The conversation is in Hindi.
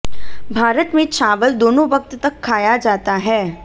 भारत में चावल दोनों वक्त तक खाया जाता है